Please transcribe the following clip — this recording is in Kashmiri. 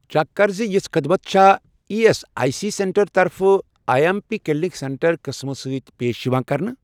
چیک کر زِ یِژھ خدمت چھا E S I C centre طرفہٕ I M P clinic centre قٕسمہٕ سۭتۍ پیش یِوان کرنہٕ؟